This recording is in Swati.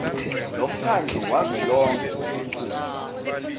lomkhandlu wavelonkhe wetifundza